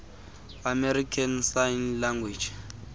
american sign language